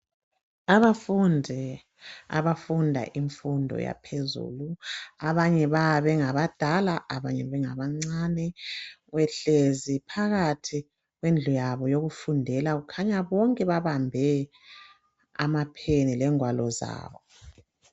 Abafundi abafunda imfundo yaphezulu abanye bayabe bengabadala, abanye bengabancane behlezi phakathi kwendlu yabo yokufundela . Kukhanya bonke babambe amapheni lengwalo zabo.